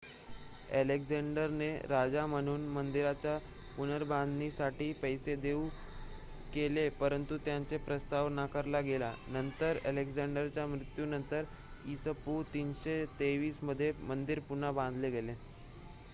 अलेक्झांडरने राजा म्हणून मंदिराच्या पुनर्बांधणीसाठी पैसे देऊ केले परंतु त्यांचा प्रस्ताव नाकारला गेला. नंतर अलेक्झांडरच्या मृत्यूनंतर इ.स.पू. 323 मध्ये मंदिर पुन्हा बांधले गेले